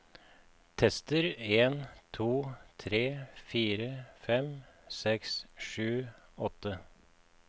Tester en to tre fire fem seks sju åtte